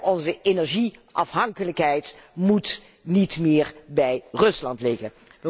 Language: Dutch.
Onze energieafhankelijkheid mag niet meer bij Rusland liggen.